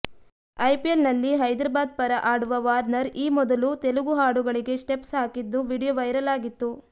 IPL ನಲ್ಲಿ ಹೈದರಾಬಾದ್ ಪರ ಆಡುವ ವಾರ್ನರ್ ಈ ಮೊದಲೂ ತೆಲುಗು ಹಾಡುಗಳಿಗೆ ಸ್ಟೆಪ್ಸ್ ಹಾಕಿದ್ದು ವಿಡಿಯೋ ವೈರಲ್ ಆಗಿತ್ತು